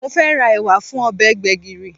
Mo fẹ́ ra ẹ̀wà fún ọbẹ̀ gbẹ̀gìrì